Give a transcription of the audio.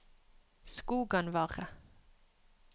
Skoganvarre